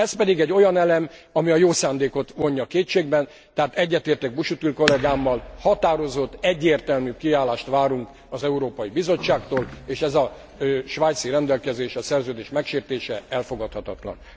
Ez pedig egy olyan elem, ami a jó szándékot vonja kétségbe, tehát egyetértek Busuttil kollégámmal határozott, egyértelmű kiállást várunk az Európai Bizottságtól, és ez a svájci rendelkezés, a szerződés megsértése elfogadhatatlan.